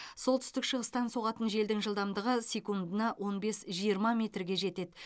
солтүстік шығыстан соғатын желдің жылдамдығы секундына он бес жиырма метрге жетеді